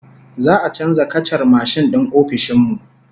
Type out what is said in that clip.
Za'a canza kacar mashin din ofishin mu